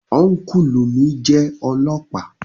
Ọ́nkùlù mi jẹ́ ọlọ́ọ̀pá